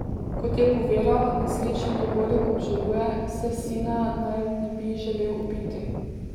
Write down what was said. Kot je povedal, nesrečni dogodek obžaluje, saj sina naj ne bi želel ubiti.